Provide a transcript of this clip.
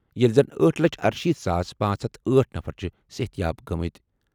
ییٚلہِ زَن أٹھ لچھ ارشیٖتھ ساس پانژھ ہتھ أٹھ نفر چھِ صحت یاب گٔمٕتۍ۔